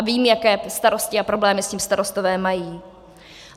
A vím, jaké starosti a problémy s tím starostové mají.